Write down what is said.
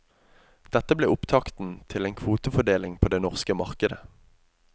Dette ble opptakten til en kvotefordeling på det norske markdet.